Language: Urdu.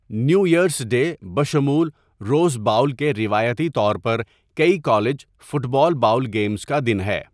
نیو ایرس ڈے بشمول روز باؤل کے روایتی طور پر کئی college football bowl games کا دن ہے۔